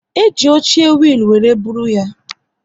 E ji oche wiil were bụrụ ya